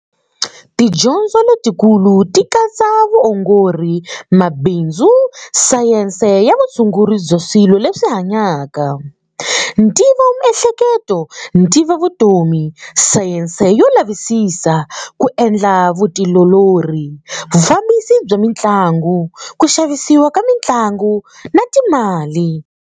Tidyondzo letikulu ti katsa vuongori, mabindzu, sayense ya vutshunguri bya swilo leswi hanyaka, ntivomiehleketo, ntivovutomi, sayense yo lavisisa, ku endla vutiolori, vufambisi bya mintlangu, ku xavisiwa ka mintlangu na timali.